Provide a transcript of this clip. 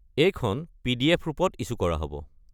এইখন পি.ডি.এফ. ৰূপত ইছ্যু কৰা হ'ব।